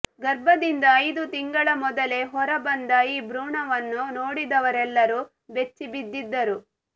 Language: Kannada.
ಗರ್ಭದಿಂದ ಐದು ತಿಂಗಳ ಮೊದಲೇ ಹೊರ ಬಂದ ಈ ಭ್ರೂಣವನ್ನು ನೋಡಿದವರೆಲ್ಲರೂ ಬೆಚ್ಚಿ ಬಿದ್ದಿದ್ದರು